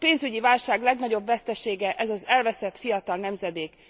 A pénzügyi válság legnagyobb vesztesége ez az elveszett fiatal nemzedék.